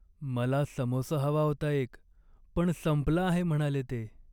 मला समोसा हवा होता एक, पण संपला आहे म्हणाले ते.